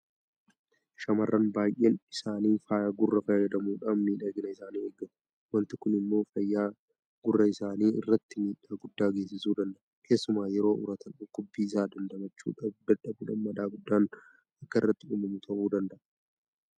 Shaamarran baay'een isaanii faaya gurraa fayyadamuudhaan miidhagina isaanii eeggatu. Waanti kun immoo fayyaa gurra isaanii irratti miidhaa guddaa geessisuu danda'a. Keessumaa yeroo uratan dhukkubbii isaa damdamachuu dadhabuudhaan madaa guddaan akka irratti uumamu ta'uu danda'a.